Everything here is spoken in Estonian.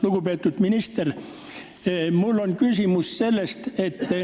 Lugupeetud minister!